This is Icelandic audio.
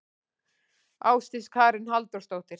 Ásdís Karen Halldórsdóttir.